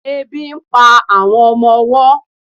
ebi n pa àwọn ọmọ ọwọ ten